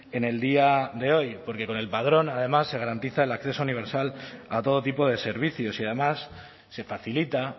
en el día de hoy porque con el padrón además se garantiza el acceso universal a todo tipo de servicios y además se facilita